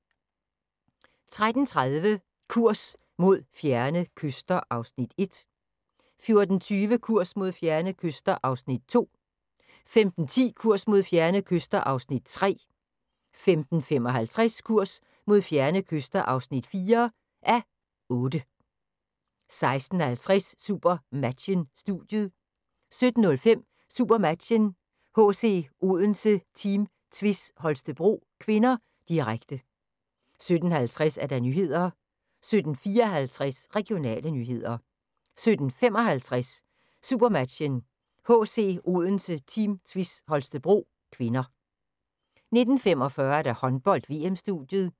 13:30: Kurs mod fjerne kyster (1:8) 14:20: Kurs mod fjerne kyster (2:8) 15:10: Kurs mod fjerne kyster (3:8) 15:55: Kurs mod fjerne kyster (4:8) 16:50: SuperMatchen: Studiet 17:05: SuperMatchen: HC Odense-Team Tvis Holstebro (k), direkte 17:50: Nyhederne 17:54: Regionale nyheder 17:55: SuperMatchen: HC Odense-Team Tvis Holstebro (k) 19:45: Håndbold: VM-studiet